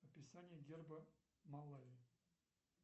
описание герба малави